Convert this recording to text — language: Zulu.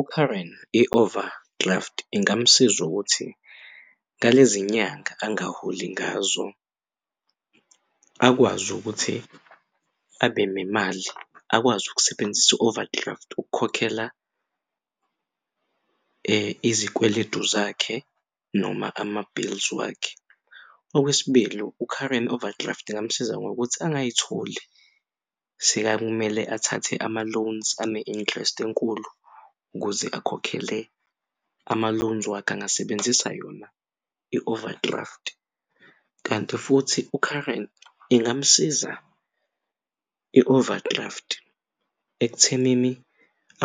UKaren i-overdraft ingamsiza ukuthi ngalezinyanga angaholi ngazo akwazi ukuthi abenemali akwazi ukusebenzisa i-overdraft ukukhokhela izikweletu zakhe noma ama-bills wakhe. Okwesibili u-current overdraft angamusiza ngokuthi engayitholi sekakumele athathe ama-loans ane-interest enkulu ukuze akhokhele ama-loans wakhe angasebenzisa yona i-overdraft kanti futhi u-Karen ingamsiza i-overdraft ekuthenini